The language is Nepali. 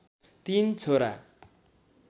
३ छोरा